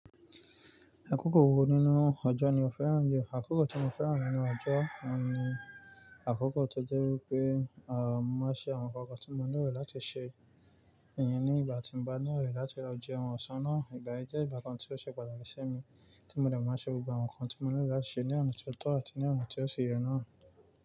Akókò wo nínú ọjọ́ ni o fẹ́ràn jù? Akókò tí mo fẹ́ràn nínú ọjọ́ ni akókò tó jẹ́ wípé, à, mo ṣe àwọn nǹkan tí mo nílò láti ṣe, ìyẹn ní ìgbà tí mo bá nílò láti lọ jeun ọ̀sán náà. Ìgbà yẹn jẹ́ ìgbà kan tí ó ṣe pàtàkì sí mi, tí mo dẹ̀ máa ṣe gbogbo àwọn nǹkan tí mo nílò láti ṣe ní ọ̀nà tó tọ́ àti ní ọ̀nà tí ó ṣe yẹ náà.